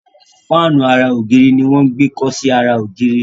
Fáànù àrà ògiri ní wón gbé kò sì ara ògiri.